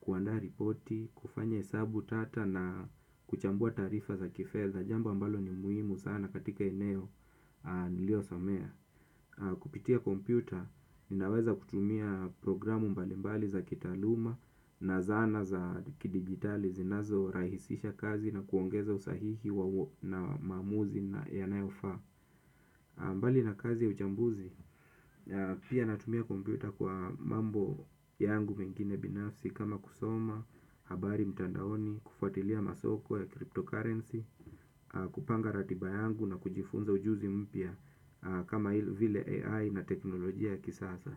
kuandaa ripoti, kufanya hesabu tata na kuchambua taarifa za kifedha, jambo ambalo ni muhimu sana katika eneo nililosomea. Kupitia kompyuta, ninaweza kutumia programu mbalimbali za kitaaluma na zana za kidigitali zinazorahisisha kazi na kuongeza usahihi wa maamuzi yanayofaa. Mbali na kazi ya uchambuzi, pia natumia kompyuta kwa mambo yangu mengine binafsi kama kusoma, habari mtandaoni, kufuatilia masoko ya kripto kurenzi. Kupanga ratiba yangu na kujifunza ujuzi mpya kama vile AI na teknolojia ya kisasa.